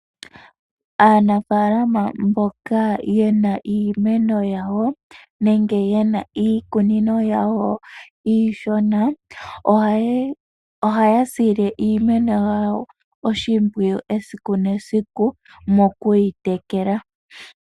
Aanafalama mboka yena iimeno yawo nenge iikunino yawo iishona, ohaya sile iimeno yawo oshimpwiyu esiku nesiku moku yi tekela.